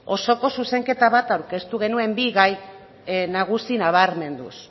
osoko zuzenketa bat aurkeztu genuen bi gai nagusi nabarmenduz